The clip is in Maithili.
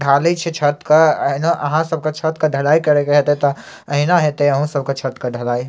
ढालय छै छत के एहना अहां सब के छत के ढलाई करय के हेता ते एहना हेता छत के ढलाय।